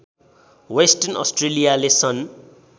western अस्ट्रेलियाले सन्